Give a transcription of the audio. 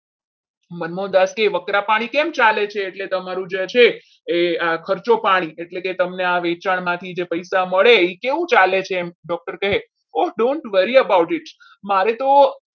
મંગુદાસ કહે વકરા પાણી કેમ ચાલે છે કે તમારું જે છે એ ખર્ચો પાણી એટલે કે તમને આ વેચાણમાંથી પૈસા મળે એ કેવું ચાલે છે? doctor કહે oh dont worry about it મારે તો